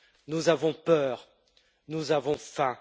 Nous avons peur, nous avons faim.